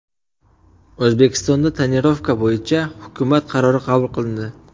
O‘zbekistonda tonirovka bo‘yicha hukumat qarori qabul qilindi.